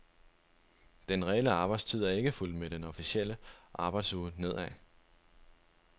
Den reelle arbejdstid er ikke fulgt med den officielle arbejdsuge nedad.